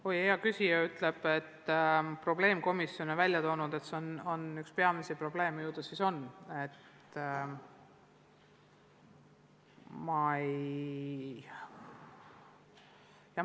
Kui hea küsija ütleb, et probleemkomisjon väidab, et see on üks peamisi probleeme, ju ta siis on.